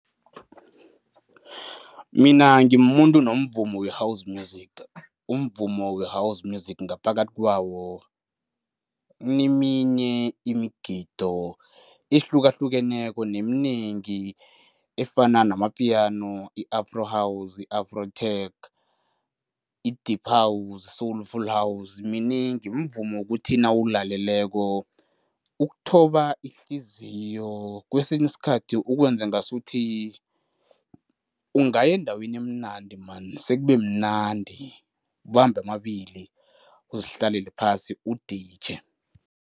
Mina ngimumuntu nomvumo we-house music. Umvumo we-house music ngaphakathi kwawo ineminye imigido ehlukahlukeneko neminengi efana namapiyano, i-afro, i-afro tech, i-deep house, soulful house, minengi. Mvumo wokuthi nawulaleleko ukuthoba ihliziyo. Kwesinye isikhathi, ukwenze ngasuthi ungaya endaweni emnandi man, sekube mnandi, ubambe amabili, uzihlalele phasi, uditjhe.